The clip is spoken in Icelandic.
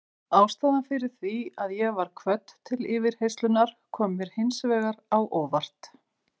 Ástæðan fyrir því að ég var kvödd til yfirheyrslunnar kom mér hins vegar á óvart.